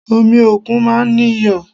Omi òkun máa ń ní iyọ̀